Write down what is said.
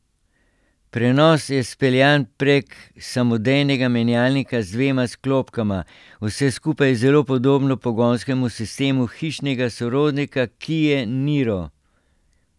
Prenos je speljan prek samodejnega menjalnika z dvema sklopkama, vse skupaj je zelo podobno pogonskemu sistemu hišnega sorodnika kie niro.